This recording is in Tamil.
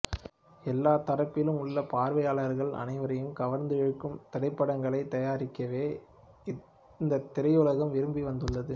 எல்லாத் தரப்பிலும் உள்ள பார்வையாளர்கள் அனைவரையும் கவர்ந்திழுக்கும் திரைப்படங்களைத் தயாரிக்கவே இந்தித் திரையுலகம் விரும்பி வந்துள்ளது